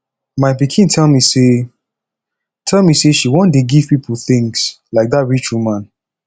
my pikin tell me say tell me say she wan dey give people things like dat rich woman